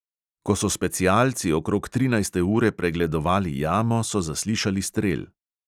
Ko so specialci okrog trinajste ure pregledovali jamo, so zaslišali strel.